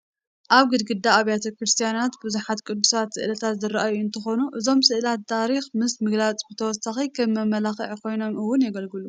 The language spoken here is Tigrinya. ኣብ ግድግዳ ኣብያተ ክርስቲያናት ብዙሓት ቅዱሳት ስእላት ዝርአዩ እንትኾኑ እዞም ስእላት ታሪክ ምስ ምግላፆም ብተወሳኺ ከም መመላክዒ ኮይኖም እውን የገልግሉ፡፡